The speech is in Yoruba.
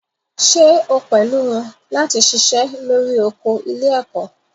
Ṣé o pẹ̀lú wọn láti ṣiṣẹ́ lórí oko ilé-ẹ̀kọ́?